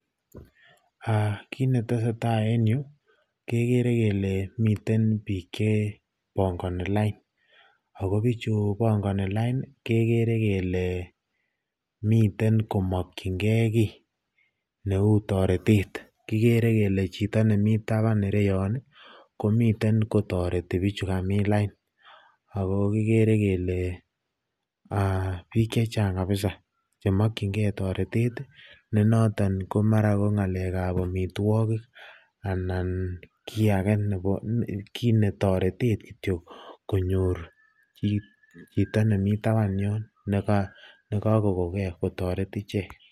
Kiit netesetaa en yuu kekere kelee miten biik chebongoni lain ak ko bichu bongoni lain kekere kelee miten komokying'e kii neuu toretet, kikere kelee Chito nemii taban Ireton komiten kotoreti bichu kamin lain ak ko kikere kelee biik chechang kabisa chemokying'e toretet nenoton ko mara ng'alekab amitwokik anan kii akee, kii toretet kityo konyor chito nemii taban yoon nekakoko kee kotoret ichek.